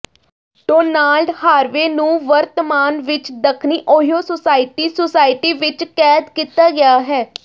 Donald Harvey ਨੂੰ ਵਰਤਮਾਨ ਵਿੱਚ ਦੱਖਣੀ ਓਹੀਓ ਸੁਸਾਇਟੀ ਸੁਸਾਇਟੀ ਵਿੱਚ ਕੈਦ ਕੀਤਾ ਗਿਆ ਹੈ